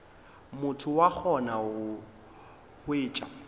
motho wa gona o hwetša